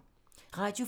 Radio 4